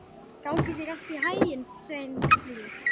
Gangi þér allt í haginn, Sveinfríður.